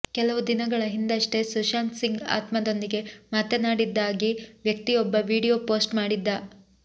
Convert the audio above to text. ಕೆಲವು ದಿನಗಳ ಹಿಂದಷ್ಟೆ ಸುಶಾಂತ್ ಸಿಂಗ್ ಆತ್ಮದೊಂದಿಗೆ ಮಾತನಾಡಿದ್ದಾಗಿ ವ್ಯಕ್ತಿಯೊಬ್ಬ ವಿಡಿಯೋ ಪೋಸ್ಟ್ ಮಾಡಿದ್ದ